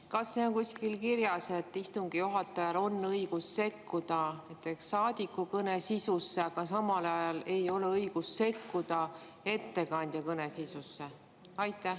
Kas kuskil on kirjas, et istungi juhatajal on õigus sekkuda näiteks saadiku kõne sisusse, aga samal ajal ei ole õigust sekkuda ettekandja kõne sisusse?